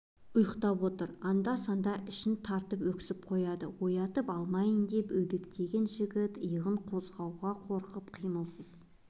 ұйықтап отыр анда-санда ішін тартып өксіп қояды оятып алмайын деп өбектеген жігіт иығын қозғауға қорқып қимылсыз